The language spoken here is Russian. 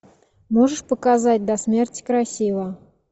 можешь показать до смерти красива